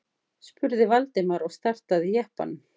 spurði Valdimar og startaði jeppanum.